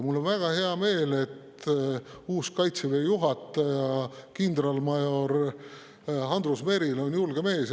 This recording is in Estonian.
Mul on väga hea meel, et uus Kaitseväe juhataja kindralmajor Andrus Merilo on julge mees.